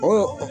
Ɔ